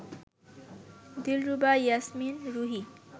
Dilruba Yasmin Ruhi